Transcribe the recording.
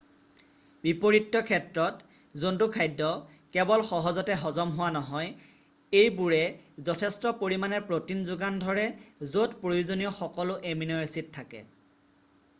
বিপৰীত্য ক্ষেত্ৰত জন্তু খাদ্য পৰুৱা উঁঁই পৰুৱা কনী কেৱল সহজতে হজম হোৱা নহয় এইবোৰে যথেষ্ট পৰিমানে প্ৰ'টিন যোগান ধৰে য'ত প্ৰয়োজনীয় সকলো এমিন' এছিড থাকে।